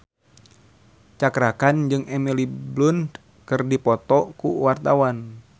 Cakra Khan jeung Emily Blunt keur dipoto ku wartawan